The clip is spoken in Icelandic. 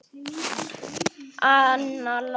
Anna Lóa.